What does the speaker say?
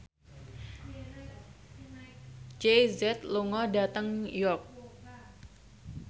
Jay Z lunga dhateng York